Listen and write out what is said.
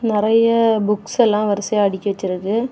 நறைய புக்ஸ் எல்லாம் வரிசையா அடுக்கி வச்சிருக்கு.